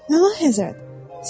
Nə vaxt hər zərrət?